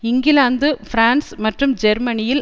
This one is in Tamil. இங்கிலாந்து பிரான்ஸ் மற்றும் ஜெர்மனியில்